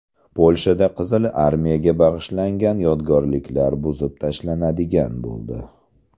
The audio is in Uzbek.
Polshada Qizil armiyaga bag‘ishlangan yodgorliklar buzib tashlanadigan bo‘ldi.